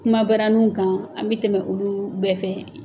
Kuma baraniw kan an bɛ tɛmɛ olu bɛɛ fɛ.